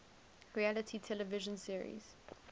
reality television series